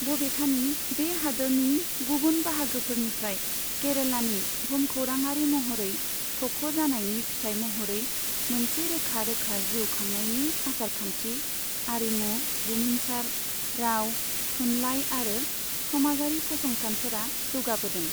बबेखानि, बे हादोरनि गुबुन बाहागोफोरनिफ्राय केरेलानि भुमखौराङारि महरै थख' जानायनि फिथाइ महरै मोनसे रोखा रोखा जिउ खांनायनि आसारखान्थि, आरिमु, बुमिनसार, राव, थुनलाइ आरो समाजारि फसंथानफोरा जौगाबोदों।